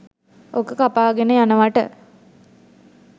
ඕක කපාගෙන යනවට